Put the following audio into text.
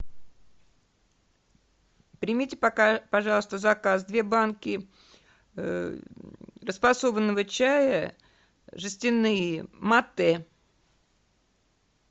примите пока пожалуйста заказ две банки расфасованного чая жестяные матэ